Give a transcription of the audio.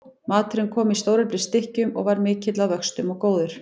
Maturinn kom í stóreflis stykkjum og var mikill að vöxtum og góður.